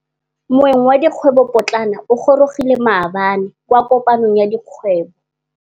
Moêng wa dikgwêbô pôtlana o gorogile maabane kwa kopanong ya dikgwêbô.